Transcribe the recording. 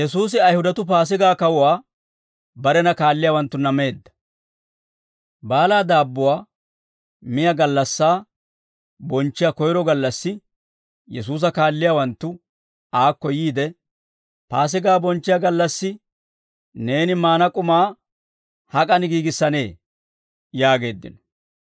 Baalaa daabbuwaa miyaa gallassaa bonchchiyaa koyro gallassi, Yesuusa kaalliyaawanttu aakko yiide, «Paasigaa bonchchiyaa gallassi neeni maana k'umaa hak'an giigissanee?» yaageeddino.